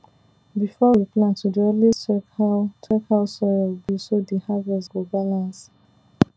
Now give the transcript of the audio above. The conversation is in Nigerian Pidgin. before we plant we dey always check how check how soil be so the harvest go balance